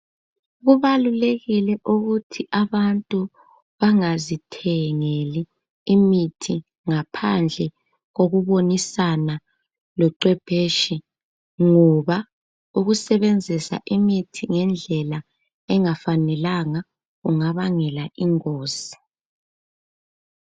Kubalulekile ukuthi abantu bangazithengeli imithi ngaphandle kokubonisana loQepheshe ngoba ukusebenzisa imithi ngendlela engafanelanga kungabangela ingozi.